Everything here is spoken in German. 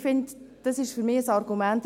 Ich finde, dies ist ein Argument.